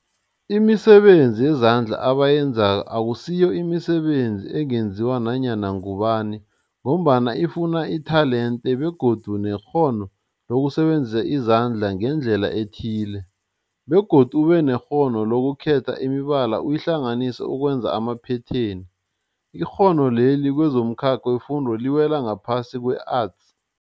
Imisebenzi yezandla abayenzako akusiyo imisebenzi ungenziwa ngunyana ngubani mgombana ifuna itelente begodu nekghono lokusebenzisa izandla ngendlela ethile, begodu ubenekghono lokukhetha imibala uyihlanganise ukwenza amaphetheni. Ikghono leli kwezomkhakha wefundo liwela ngaphasi kwe-Arts.